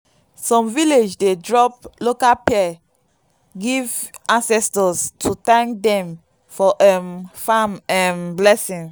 some village dey drop local pea give ancestors to thank dem for um farm um blessing.